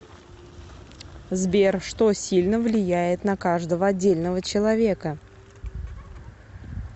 сбер что сильно влияет на каждого отдельного человека